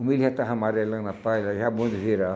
O milho já estava amarelando a palha, já bom de virar.